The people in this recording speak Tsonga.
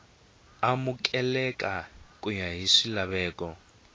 amukeleka ku ya hi swilaveko